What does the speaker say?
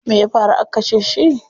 Me ya faru aka kashe shi?